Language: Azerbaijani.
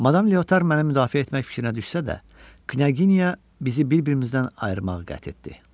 Madam Liotar məni müdafiə etmək fikrinə düşsə də, Knyaginya bizi bir-birimizdən ayırmağı qəti etdi.